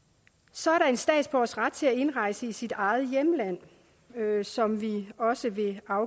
så er der en statsborgers ret til at indrejse i sit eget hjemland som vi også vil